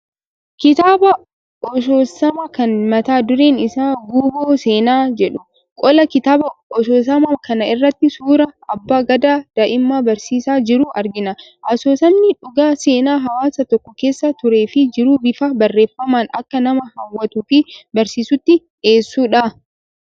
Kitaaba asoosamaa kan mata dureen isaa "Guuboo Seenaa" jedhu. Qola kitaaba asoosamaa kana irratti suura abbaa gadaa daa'ima barsiisaa jiru argina. Asoosamni dhugaa seenaa hawaasa tokko keessa turee fi jiru bifa barreeffamaan akka nama hawwatuu fi barsiisutti dhiyeessuudha.